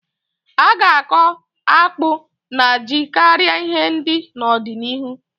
A ga-akọ akpụ na ji karịa ihe ndị n'ọdịnihu.